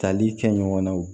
Tali kɛ ɲɔgɔnnaw